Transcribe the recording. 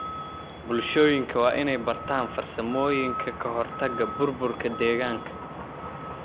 Bulshooyinka waa inay bartaan farsamooyinka ka hortagga burburka deegaanka.